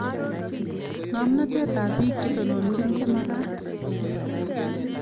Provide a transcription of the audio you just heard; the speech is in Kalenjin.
Ngomnatet tab bik chetononijini komakat